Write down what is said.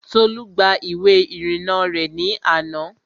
Tolú gba ìwé ìrìnnà rẹ̀ ní àná